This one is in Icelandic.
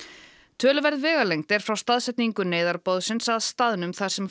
töluverð vegalengd er frá staðsetningu neyðarboðsins að staðnum þar sem